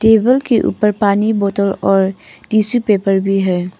Table के ऊपर पानी बोतल और टिशू पेपर भी है।